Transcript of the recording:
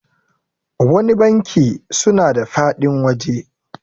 wani banki suna da faɗin waje